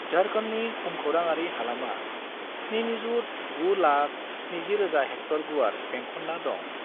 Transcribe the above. झारखंडनि भुमखौराङारि हालामा 7,970,000 हेक्टर गुवार बेंखनना दं।